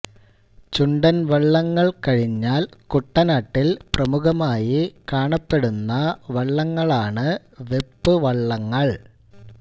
ചുണ്ടൻ വള്ളങ്ങൾ കഴിഞ്ഞാൽ കുട്ടനാട്ടിൽ പ്രമുഖമായി കാണപ്പെടുന്ന വള്ളങ്ങളാണ് വെപ്പ് വള്ളങ്ങൾ